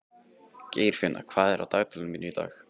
Geirfinna, hvað er á dagatalinu mínu í dag?